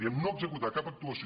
diem no executar cap actuació